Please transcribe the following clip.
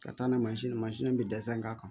Ka taa n'a ye mansin na mansin bɛ dɛsɛ n kan